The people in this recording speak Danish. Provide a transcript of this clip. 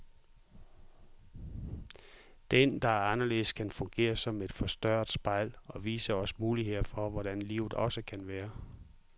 Den, der er anderledes, kan fungere som et forstørrende spejl, og vise os muligheder for hvordan livet også kan være.